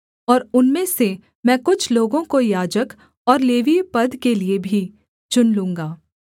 और उनमें से मैं कुछ लोगों को याजक और लेवीय पद के लिये भी चुन लूँगा